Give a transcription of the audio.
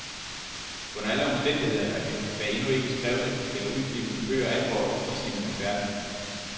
Under alle omstændigheder er vi, hvad endnu ikke skrevne eller udgivne bøger angår, i gisningernes verden.